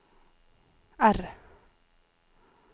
R